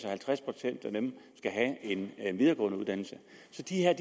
at halvtreds procent af dem skal have en videregående uddannelse så de her